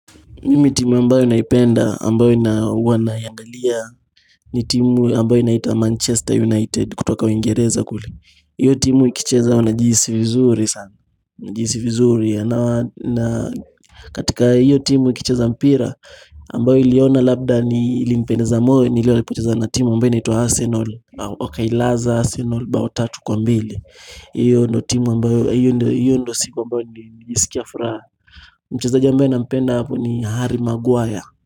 Mimi timu ambayo naipenda ambayo ina huwa naiangalia ni timu ambayo inaita manchester united kutoka uingereza kule hiyo timu ikicheza wanajihisi vizuri sana najihisi vizuri ya na katika hiyo timu ikicheza mpira ambayo niliona labda ni ilinipendeza moyo ni ile walipocheza na timu ambayo inaitwa arsenal wakailaza arsenal bao tatu kwa mbili hiyo ndio timu ambayo hiyo ndio siku ambayo nilijisikia furaha mchezaji ambaye nampenda hapo ni harry maguire.